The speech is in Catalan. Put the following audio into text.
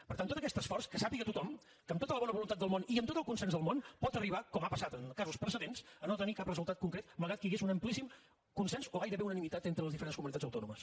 per tant tot aquest esforç que ho sàpiga tothom que amb tota la bona voluntat del món i amb tot el consens del món pot arribar com ha passat en casos precedents a no tenir cap resultat concret malgrat que hi hagués un amplíssim consens o gairebé unanimitat entre les diferents comunitats autònomes